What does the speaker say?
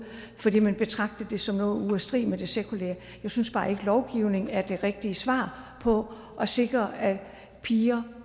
fordi man betragtede det som noget i modstrid med det sekulære jeg synes bare ikke lovgivning er det rigtige svar på at sikre at piger